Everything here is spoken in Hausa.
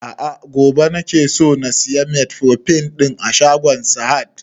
A'a gobe nake so na saya metformin ɗin a shagon sahad